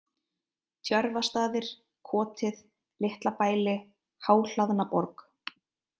Tjörvastaðir, Kotið, Litlabæli, Háhlaðnaborg